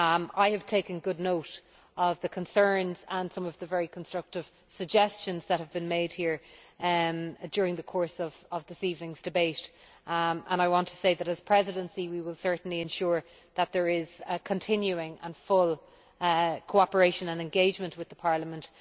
I have taken good note of the concerns and of some very constructive suggestions that have been made here during the course of this evening's debate, and I want to say that as the Presidency we will certainly ensure that there is continuing and full cooperation and engagement with Parliament.